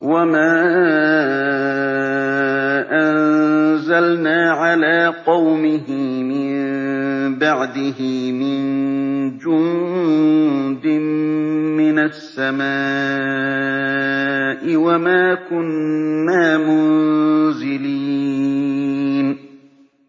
۞ وَمَا أَنزَلْنَا عَلَىٰ قَوْمِهِ مِن بَعْدِهِ مِن جُندٍ مِّنَ السَّمَاءِ وَمَا كُنَّا مُنزِلِينَ